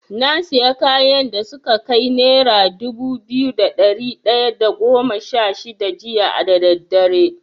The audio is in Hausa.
Na sayi kayan da suka kai nera dubu biyu da ɗari ɗaya da goma sha shida jiya da daddare.